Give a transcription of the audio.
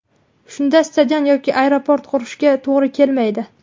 Shunda stadion yoki aeroport qurishga to‘g‘ri kelmaydi.